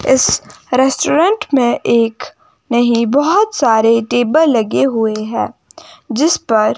इस रेस्टूरेंट में एक नहीं बहोत सारे टेबल लगे हुए है जिस पर--